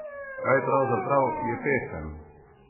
Kaj pravzaprav je pesem?